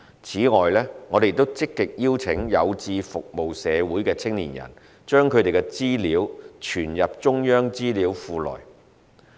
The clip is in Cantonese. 此外，我們亦積極邀請有志服務社會的青年人把他們的資料存入中央資料庫內。